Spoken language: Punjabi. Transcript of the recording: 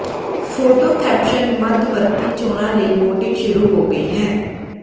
ਫੋਟੋ ਕੈਪਸ਼ਨ ਮੱਧਵਰਤੀ ਚੋਣਾਂ ਲਈ ਵੋਟਿੰਗ ਸ਼ੁਰੂ ਹੋ ਗਈ ਹੈ